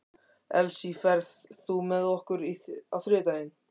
Elsí, ferð þú með okkur á þriðjudaginn?